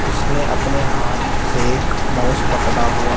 उसने अपने हाथ से माउस पकड़ा हुआ--